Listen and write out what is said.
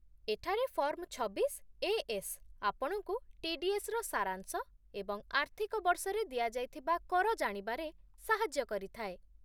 ଏଠାରେ ଫର୍ମ୍ ଛବିଶ ଏଏସ୍ ଆପଣଙ୍କୁ ଟି ଡି ଏସ୍ ର ସାରାଂଶ ଏବଂ ଆର୍ଥିକ ବର୍ଷରେ ଦିଆଯାଇଥିବା କର ଜାଣିବାରେ ସାହାଯ୍ୟ କରିଥାଏ